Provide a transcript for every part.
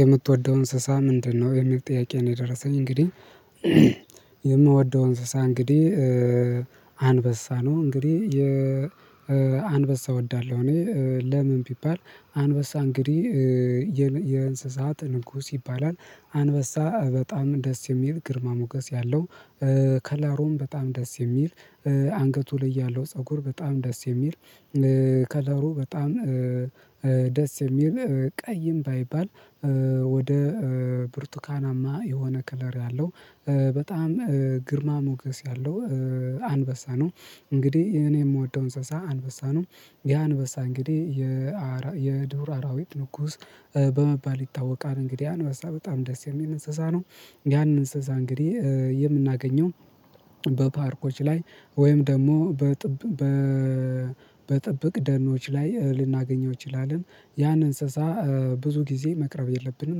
የምትወደው እንስሳ ምንድነው? የሚል ጥያቄ ነው የደረሰኝ እንግዲህ። የምወደው እንስሳ እንግዲህ አንበሳ ነው። እንግዲህ የ አንበሳ እወዳለሁ እኔ ለምን ቢባል አንበሳ እንግዲህ የእንስሳት ንጉስ ይባላል። አንበሳ በጣም ደስ የሚል ግርማ ሞገስ ያለው ከለሩም በጣም ደስ የሚል፤ አንገቱ ላይ ያለው ፀጉር በጣም ደስ የሚል ከለሩ በጣም ደስ የሚል ቀይም ባይባል ወደ ብርቱካናማ የሆነ ክለር ያለው በጣም ግርማ ሞገስ ያለው አንበሳ ነው። እንግዲህ እኔ የምወደው እንስሳ አንበሳ ነው። ያ አንበሳ እንግዲህ የዱር አራዊት ንጉስ በመባል ይታወቃል። እንግዲህ አንበሳ በጣም ደስ የሚል እንስሳ ነው። ያን እንስሳ እንግዲህ የምናገኘው በፓርኮች ላይ ወይም ደግሞ በጥብቅ ደኖች ላይ ልናገኘው እንችላለን። ያን እንስሳ ብዙ ጊዜ መቅረብ የለብንም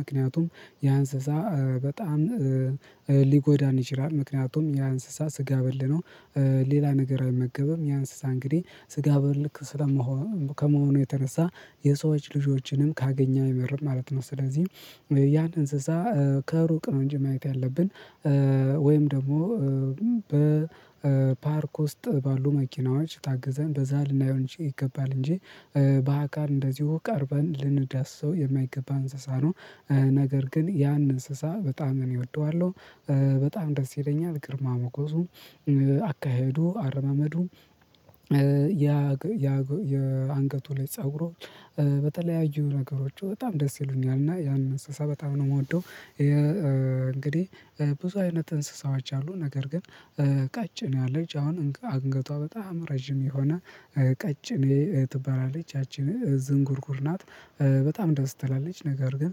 ምክንያቱም ያ እንስሳ በጣም ሊጎዳን ይችላል። ምክንያቱም ያ እንስሳ ስጋ በል ነው። ሌላ ነገር አይመገብም ያ እንስሳ እንግዲህ ስጋ በል ስለመሆን ከመሆኑ የተነሳ የሰዎች ልጆችንም ካገኘ አይመርም ማለት ነው። ስለዚህ ያን እንስሳ ከሩቅ ነው እንጂ ማየት ያለብን ወይም ደግሞ በፓርክ ውስጥ ባሉ መኪናዎች ታግዘን በዛ ልናየው እንጂ ይገባል እንጂ በአካል እንደዚሁ ቀርበን ልንዳሰው የማይገባ እንስሳ ነው። ነገር ግን ያን እንስሳ በጣም እኔ እወደዋለሁ በጣም ደስ ይለኛል ግርማ ሞገዙ፤ አካሄዱ፤ አረማመዱ ያ ያ የአንገቱ ላይ ፀጉሮች በተለያዩ ነገሮቹ በጣም ደስ ይሉኛል። እና ያንን እንስሳ በጣም ነው የምወደው ይሄ እንግዲህ ብዙ አይነት እንስሳዎች አሉ። ነገር ግን ቀጭኔ አለች አሁን አንገቷ በጣም ረጅም የሆነ ቀጭኔ እኔ ትበላለች ያቺን ዝንጉርጉር ናት፤ በጣም ደስ ትላለች። ነገር ግን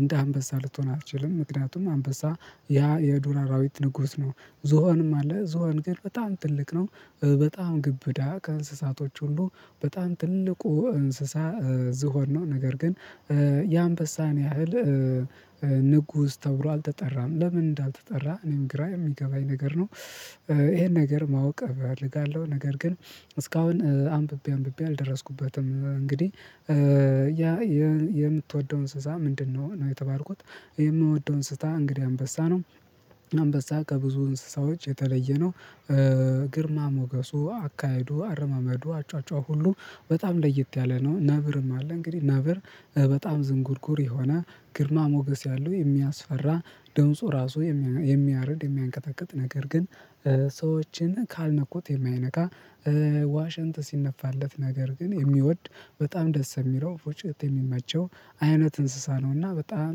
እንደ አንበሳ ልትሆን አትችልም ምክንያቱም አንበሳ ያ የዱር አራዊት ንጉስ ነው። ዞሆንም አለ ዞሆን ግን በጣም ትልቅ ነው። በጣም ግብዳ ከእንስሳቶች ሁሉ በጣም ትልቁ እንስሳ ዝሆን ነው። ነገር ግን የአንበሳን ያህል ንጉስ ተብሎ አልተጠራም። ለምን እንዳልተጠራ እኔም ግራ የሚገባኝ ነገር ነው። ይሄን ነገር ማወቅ እፈልጋለሁ ነገር ግን እስካሁን አንብቤ አንብቤ አልደረስኩበትም እንግዲህ ያ የምትወደው እንስሳ ምንድነው? ነው የተባልኩት የምወደው እንስሳ እንግዲህ አንበሳ ነው። አንበሳ ከብዙ እንስሳዎች የተለየ ነው። ግርማ ሞገሱ፤ አካሄዱ፤ አረማመዱ፤ አጯጯሁ ሁሉ በጣም ለይት ያለ ነው። ነብርም አለ እንግዲህ ነብር በጣም ዝንጉርጉር የሆነ፤ ግርማ ሞገስ ያለው፥ የሚያስፈራ፤ ድምፁ ራሱ የሚያርድ የሚያንቀጠቅጥ ነገር ግን ሰዎችን ካልነኩት የማይነካ፤ ዋሽንት ሲነፋለት ነገር ግን የሚወድ በጣም ደስ የሚለው ፉጭት የሚመቸው አይነት እንስሳ ነው። እና በጣም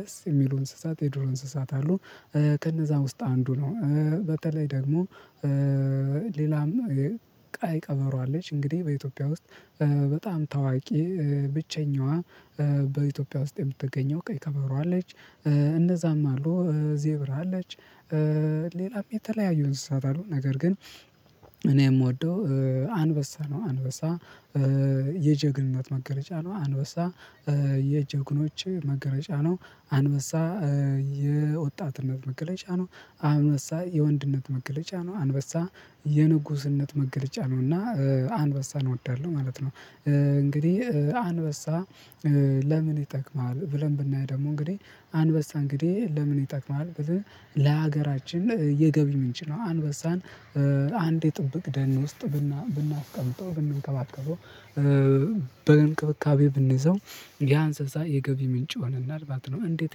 ደስ የሚሉ እንስሳት የዱር እንስሳት አሉ። ከነዛ ውስጥ አንዱ ነው በተለይ ደግሞ ሌላም ቀይ ቀበሮ አለች። እንግዲህ በኢትዮጵያ ውስጥ በጣም ታዋቂ ብቸኛዋ በኢትዮጵያ ውስጥ የምትገኘው ቀይ ቀበሮ አለች፤ እነዛም አሉ ዜብራ አለች፤ ሌላም የተለያዩ እንስሳት አሉ። ነገር ግን እኔ የምወደው አንበሳ ነው። አንበሳ የጀግንነት መገለጫ ነው አንበሳ። የጀግኖች መገለጫ ነው አንበሳ። የወጣትነት መገለጫ ነው፤ አንበሳ የወንድነት መገለጫ ነው፤ አንበሳ የንጉስነት መገለጫ ነው። እና አንበሳ እወዳለሁ ማለት ነው። እንግዲህ አንበሳ ለምን ይጠቅማል? ብለን ብናይ ደግሞ እንግዲህ አንበሳ እንግዲህ ለምን ይጠቅማል ብለህ ለሀገራችን የገቢ ምንጭለ ነው። አንበሳን አንድ የጥብቅ ደን ውስጥ ብናስቀምጠው፥ ብንከባከበው፤ በእንክብካቤ ብንይዘው ያ አንስታ የገቢ ምንጭ ሆነናል ማለት ነው። እንዴት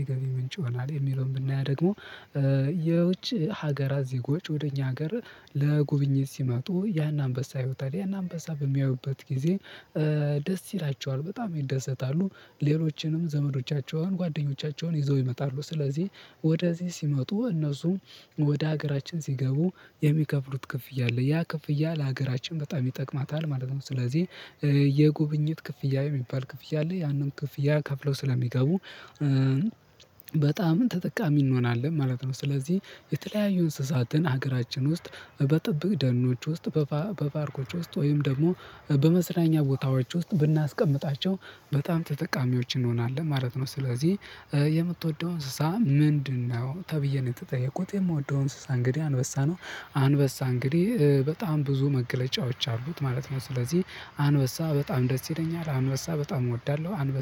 የገቢ ምንጭ ይሆናል የሚለውን ብናያ ደግሞ የውጭ ሀገራት ዜጎች ወደ እኛ ሀገር ለጉብኝት ሲመጡ ያን አንበሳ ያውታል። ያን አንበሳ በሚያዩበት ጊዜ ደስ ይላቸዋል በጣም ይደሰታሉ ሌሎችንም ዘመዶቻቸውን ጓደኞቻቸውን ይዘው ይመጣሉ። ስለዚህ ወደዚህ ሲመጡ እነሱ ወደ ሀገራችን ሲገቡ የሚከፍሉት ክፍያ አለ፤ ያ ክፍያ ለሀገራችን በጣም ይጠቅማታል ማለት ነው። ስለዚህ የጉብኝት ክፍያ የሚባል ክፍያ አለ። ያንን ክፍያ ከፍለው ስለሚገቡ በጣም ተጠቃሚ እንሆናለን ማለት ነው። ስለዚህ የተለያዩ እንስሳትን ሀገራችን ውስጥ በጥብቅ ደኖች ውስጥ፤ በፓርኮች ውስጥ ወይም ደግሞ በመዝናኛ ቦታዎች ውስጥ ብናስቀምጣቸው በጣም ተጠቃሚዎች እንሆናለን ማለት ነው። ስለዚህ የምትወደው እንስሳ ምንድነው? ተብዬ ነው የተጠየኩት የምወደው እንስሳ እንግዲህ አንበሳ ነው። አንበሳ እንግዲህ በጣም ብዙ መገለጫዎች አሉት ማለት ነው። ስለዚህ አንበሳ በጣም ደስ ይለኛል አንበሳ በጣም እወዳለሁ። አንበሳ